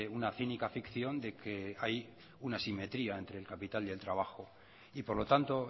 una cínica ficción de que hay una simetría entre el capital y el trabajo y por lo tanto